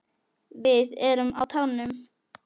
Við erum á tánum.